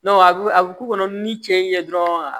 a bɛ a bɛ k'u kɔnɔ ni cɛ ye dɔrɔn